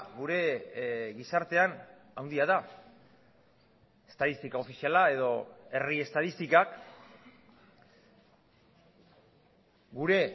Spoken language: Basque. gure gizartean handia da estatistika ofiziala edo herri estatistikak gure